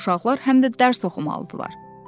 Uşaqlar həm də dərs oxumalıdılar.